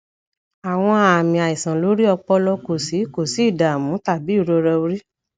awọn aami aiṣan lori ọpọlọ ko si ko si idamu tabi irora ori